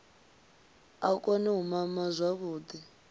a kone u mama zwavhuḓi